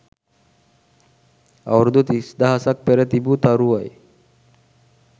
අවුරුදු තිස්දහසක් පෙර තිබූ තරුවයි